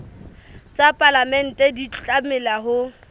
tsa palamente di tlameha ho